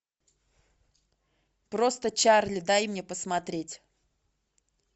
просто чарли дай мне посмотреть